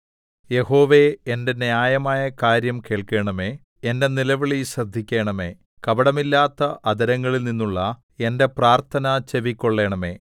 യഹോവേ എന്റെ ന്യായമായ കാര്യം കേൾക്കണമേ എന്റെ നിലവിളി ശ്രദ്ധിക്കണമേ കപടമില്ലാത്ത അധരങ്ങളിൽനിന്നുള്ള എന്റെ പ്രാർത്ഥന ചെവിക്കൊള്ളണമേ